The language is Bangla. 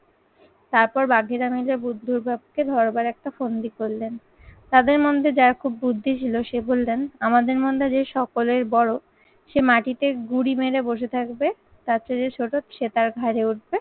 তারপর বাঘেরা মিলে বুদ্ধর বাপকে ধরবার একটা ফন্দি করলেন। তাদের মধ্যে যার খুব বুদ্ধি ছিল, সে বললেন, আমাদের মধ্যে যে সকলের বড় সে মাটিতে গুড়ি মেরে বসে থাকবে তার চেয়ে যে ছোট সে তার ঘাড়ে উঠবে